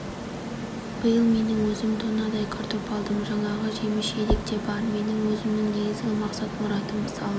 биыл менің өзім тоннадай картоп алдым жаңағы жеміс жидек те бар менің өзімнің негізгі мақсат-мұратым мысалы